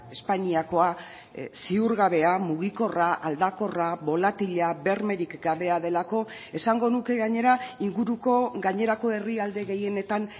espainiakoa ziurgabea mugikorra aldakorra bolatila bermerik gabea delako esango nuke gainera inguruko gainerako herrialde gehienetan